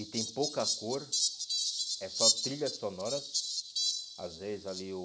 E tem pouca cor, é só trilhas sonoras, às vezes ali o...